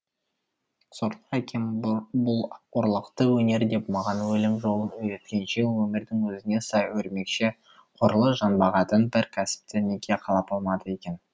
сорлы әкем бұл ұрлықты өнер деп маған өлім жолын үйреткенше өмірдің өзіне сай өрмекші ғұрлы жан бағатын бір кәсіпті неге қалап алмады екен